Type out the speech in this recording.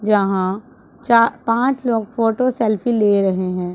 जहां चा पांच लोग फोटो सेल्फी ले रहे हैं।